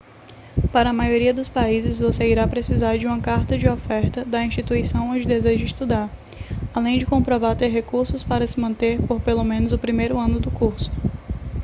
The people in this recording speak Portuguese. para a maioria dos países você irá precisar de uma carta de oferta da instituição onde deseja estudar além de comprovar ter recursos para se manter por pelo menos o primeiro ano do curso